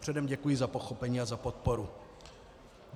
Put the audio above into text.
Předem děkuji za pochopení a za podporu.